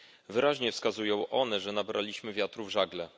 Wyraźnie wskazują one, że nabraliśmy wiatru w żagle.